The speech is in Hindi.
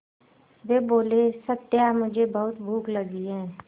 वे बोले सत्या मुझे बहुत भूख लगी है